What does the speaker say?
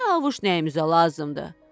Çavuş nəyimizə lazımdı?